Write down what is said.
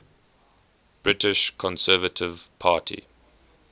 british conservative party